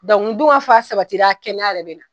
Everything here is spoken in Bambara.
ni dunkafa sabatila kɛnɛya yɛrɛ bɛna.